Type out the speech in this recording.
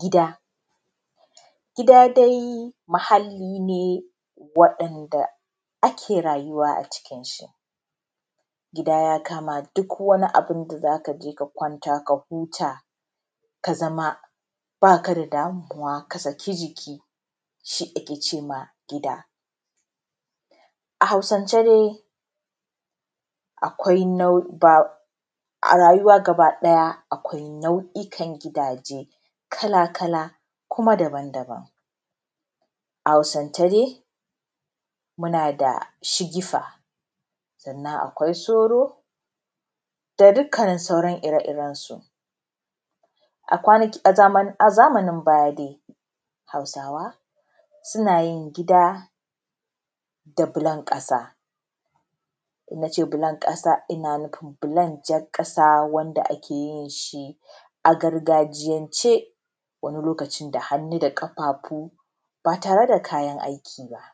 Gida dai muhali ne wadanda ake rayuwa a cikinsa. Gida ya kama duk wani abin da za ka kwanta ka huta ka zama ba ka da damuwa ka saki jiki; shi ake cewa gida. A Hausance dai akwai na’i, a rayuwa gaba daya akwai nau’ikan gidaje kala-kala kuma dabam-dabam. A Hausance dai muna da shigifa sannan akwai soro da dukkanin sauran ire-irensu. A kwanaki, a zamanin baya dai Hausawa suna yin gida da bullon kasa. In nace bullon kasa ina nufin bullon jar kasa wanda ake yin shi a gargajiyance wani lokacin da hannu da kafafu ba tare da kayan aiki ba.